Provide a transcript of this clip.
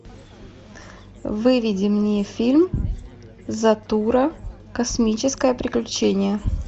выведи мне фильм затура космическое приключение